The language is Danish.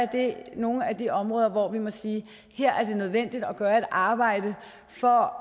det er nogle af de områder hvor vi må sige at her er det nødvendigt at gøre et arbejde for